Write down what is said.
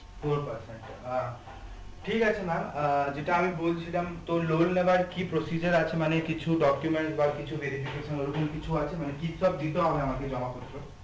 four percent আহ ঠিক আছে ma'am আহ যেটা আমি বলছিলাম তো loan নেবার কি procedure আছে মানে কিছু document বা কিছু verification ওরকম কিছু আছে মানে কি সব দিতে হবে আমাকে জমা পত্র